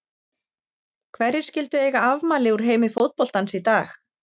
Hverjir skyldu eiga afmæli úr heimi fótboltans í dag?